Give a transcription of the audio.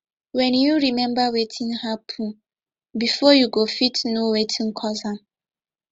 wen yu remmba wetin hapun bifor yu go fit no wetin cause am